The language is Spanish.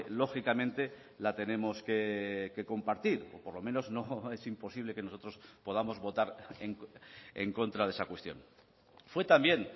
lógicamente la tenemos que compartir o por lo menos no es imposible que nosotros podamos votar en contra de esa cuestión fue también